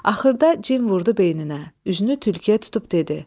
Axırda cin vurdu beyninə, üzünü tülküyə tutub dedi: